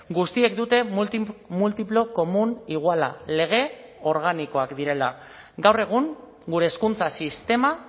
guztiek dute multiplo komun iguala lege organikoak direla gaur egun gure hezkuntza sistema